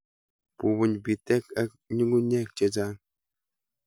Bubuny bitek ak ng'ung'unyek chechang'.